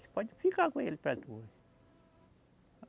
Você pode ficar com ele para tu